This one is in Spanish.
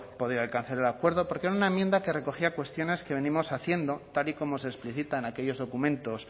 podido alcanzar el acuerdo porque era una enmienda que recogía cuestiones que venimos haciendo tal y como se explicita en aquellos documentos